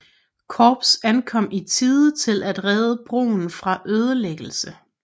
Korps ankom i tide til at redde broen fra ødelæggelse